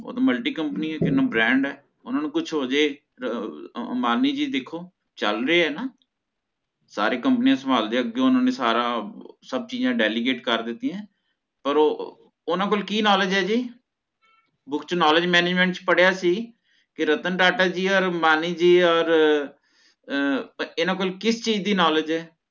ਸਬ ਚੀਜ਼ਾ delicate ਕਰ ਦਿਤਿਯਾਂ ਪਰ ਓਹਨਾ ਕੋਲ ਕੀ knowledge ਹੈ ਜੀ ਉਸ ਚ knowledge management ਚ ਪੜ੍ਹਯਾ ਸੀ ਕੀ ਰਾਤਨ ਟਾਟਾ ਜੀ ਓਰ ਓਰ ਅਮ੍ਬਾਨੀ ਜੀ ਓਰ ਇਹਨਾ ਕੋਲ ਕਿਸ ਚੀਜ਼ ਦੀ knowledge ਹੈ